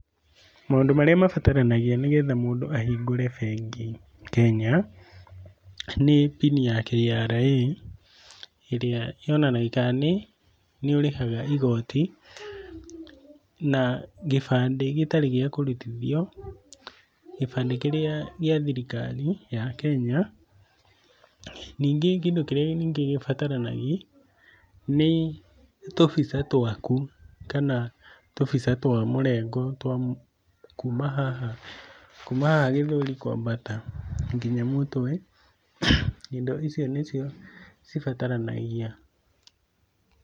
Maũndũ marĩa mabataranagia nĩgetha mũndũ ahingũre bengi Kenya nĩ PIN ya KRA ĩrĩa yonanagia kana nĩũrĩhaga igoti na gĩbandĩ gĩtarĩ gĩa kũrutithio, gĩbandĩ kĩrĩa gĩa thirikari ya Kenya. Ningĩ kĩndũ kĩrĩa ningĩ gibataranagi nĩ tũbica twaku kana tũbica twa mũrengo twa kuma haha kuma haha gĩthũri kwambata nginya mũtwe. Indo icio nĩcio cibataranagia.